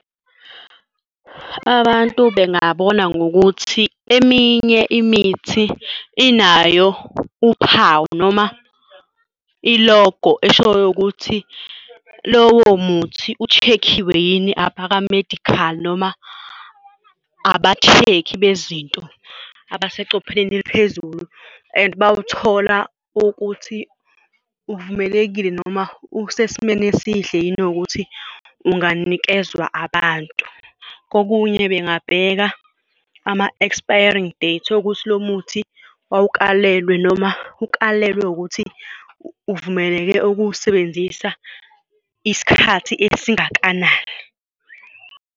Abantu bengabona ngokuthi eminye imithi inayo uphawu noma ilogo eshoyo ukuthi lowo muthi u-check-iwe yini abaka-medical noma aba-check-i bezinto abaseqophelweni eliphezulu and bawuthola ukuthi uvumelekile noma usesimeni esihle yini ukuthi unganikezwa abantu. Kokunye bengabheka ama-expiring date ukuthi lo muthi wawukalelwe noma ukalelwe ukuthi uvumeleke ukuwusebenzisa isikhathi esingakanani.